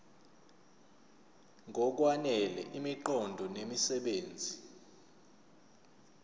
ngokwanele imiqondo nemisebenzi